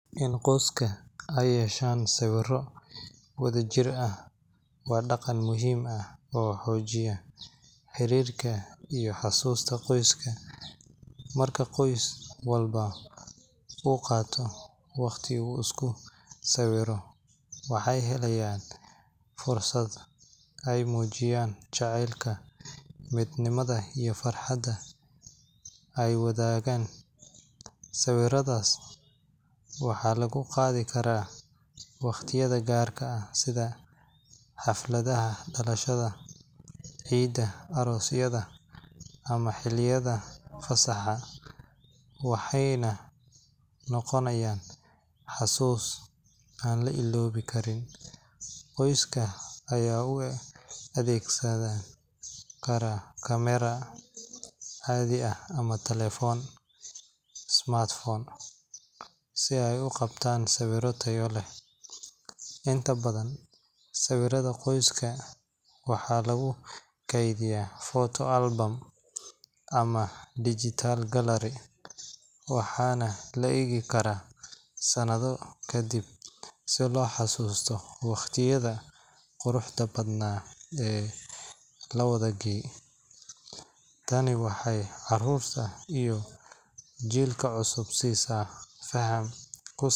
In qoska ee yeshan sawiro wadha jir ah waa daqan muhiim ah oo xojiya xirirka iyo xasusta qoiska, marka qos kista u qato waqti badan u isku sawiro waxaa yeleya fursaad ee mujiyan jacelka miid nimaada iyo farxaada iwadhagan sawiradas waxa lagu qadhi karaa waqtiyaada garka ah sidha xalfaadaha dalashaada ciida ama xiliyaada arosaha waxee na noqonayin xasus an laga dodi karin, qoiska aya u adegsan karaa camera cadi ah ama talefon smartphone ah si eeu qabtan sawiro taya leh inta badan sawiraada qoiska waxaa lagu keedhiya photo album ama digital gallery ah waxana la egi karaa sanadho kadiib si lo xasusto waqtiyaada quruxda badna ee lawadha gale, tani waxee carurta jilka cusub sisa faham ku salesan.